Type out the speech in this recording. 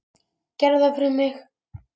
Gerðu það fyrir mig.